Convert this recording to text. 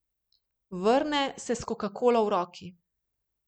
Vrne se s kokakolo v roki.